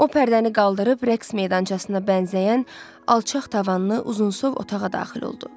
O pərdəni qaldırıb rəqs meydançasına bənzəyən alçaq tavanlı, uzunsov otağa daxil oldu.